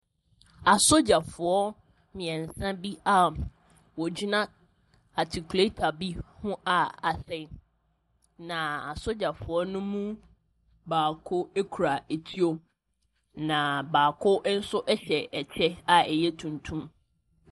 Asogyafoɔ mmeɛnsa bi a wɔgyina atikuleta bi ho a asɛe, na asogyafoɔ no mu baako kura etuo, na baako nso hyɛ kyɛ a ɛyɛ tuntum.